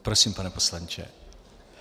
Prosím, pane poslanče.